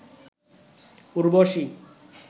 Urvashi